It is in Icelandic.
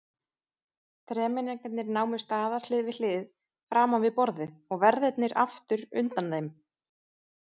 Þremenningarnir námu staðar hlið við hlið framan við borðið og verðirnir aftur undan þeim.